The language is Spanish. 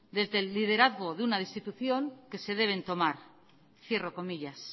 desde el liderazgo de una institución que se deben tomar